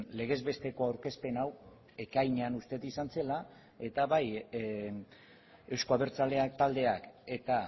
legez besteko aurkezpen hau ekainean uste dut izan zela eta bai euzko abertzaleak taldeak eta